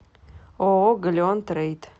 ооо галеон трейд